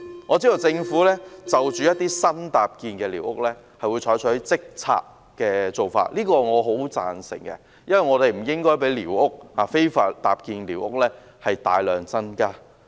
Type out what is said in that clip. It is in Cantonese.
我知道政府就一些新搭建的寮屋，會採取即時清拆的做法，對此我十分贊成，因為我們不應該讓非法搭建的寮屋大量增加。